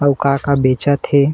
अउ का का बेचत हे।